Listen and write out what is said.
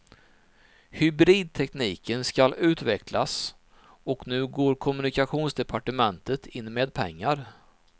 Hybridtekniken skall utvecklas och nu går kommunikationsdepartementet in med pengar.